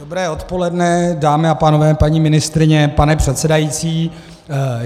Dobré odpoledne, dámy a pánové, paní ministryně, pane předsedající.